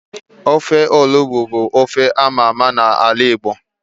Ofe onugbu bu ofe ámá ámá na ala Igbo